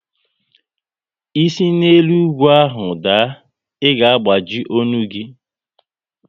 Ị si na elu ugwu ahụ daa, ị ga agbaji ọnụ gị!